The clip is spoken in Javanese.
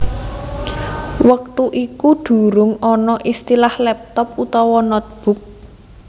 Wektu iku durung ana istilah laptop utawa notebook